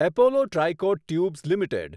Apollo Tricoat tubes limited